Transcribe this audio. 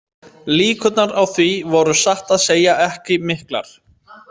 Líkurnar á því voru satt að segja ekki miklar.